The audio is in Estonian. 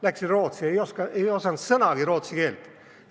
Läksin Rootsi, ei osanud sõnagi rootsi keelt.